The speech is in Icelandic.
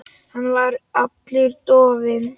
Hann var allur dofinn.